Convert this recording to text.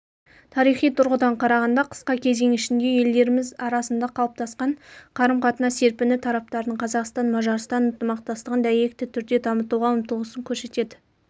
тарихи тұрғыдан қарағанда қысқа кезең ішінде елдеріміз арасында қалыптасқан қарым-қатынас серпіні тараптардың қазақстан-мажарстан ынтымақтастығын дәйекті түрде дамытуға ұмтылысын көрсетеді